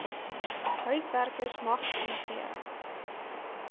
huiswerkers magtiging gee